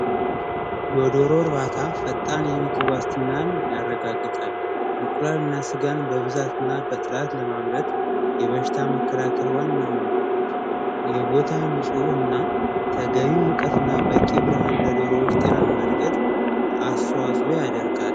የዶሮ እርባታ ፈጣን የምግብ ዋስትናን ያረጋግጣል። እንቁላል እና ስጋን በብዛ እና በጥራት ለማምረት የበሽታ መከላከል ዋናው ነው። የቦታ ንፁህ እና ተገቢ ብርሃን እና ለዶሮዎች ጤናማ እድገት አስተዋፅኦ ያደርጋል።